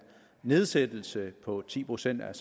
nedsættelse på ti procent af